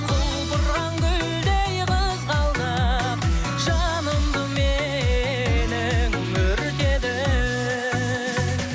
құлпырған гүлдей қызғалдақ жанымды менің өртедің